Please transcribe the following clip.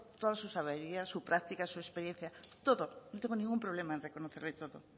todas sus averías su práctica su experiencia no tengo ningún problema en reconocerles todo